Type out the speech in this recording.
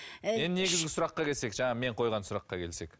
ы енді негізгі сұраққа келсек жаңағы мен қойған сұраққа келсек